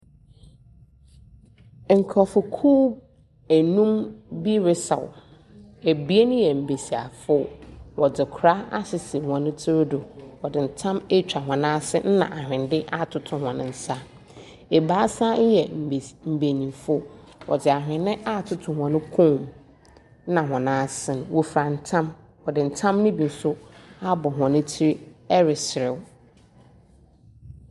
Nkurɔfokuw enum bi resaw. Abien yɛ mmesiafo. Wɔdze kora asisi hɔn tsiri do, wɔdze ntam atwa hɔn ase ɛna ahwenne atoto hɔn nsa. Abaasa yɛ mbes mmenyimfo, wɔdze ahwenne atoto nhɔn kɔm ɛna hɔn asen. Wɔfura ntam. Wɔdze ntam no bi nso abɔ hɔn tsiri reserew.